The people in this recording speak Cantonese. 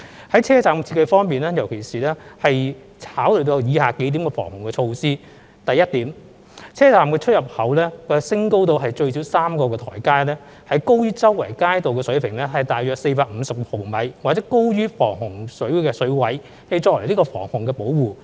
在車站設計方面，特別考慮到防洪需要而設有以下數項措施：第一，車站出入口設有最少3個台階，高於周圍街道水平大約450毫米，或高於防洪水位，以作為防洪保護。